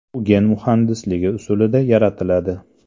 U gen muhandisligi usulida yaratiladi.